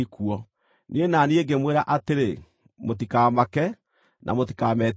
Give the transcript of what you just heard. Niĩ na niĩ ngĩmwĩra atĩrĩ, “Mũtikamake, na mũtikametigĩre.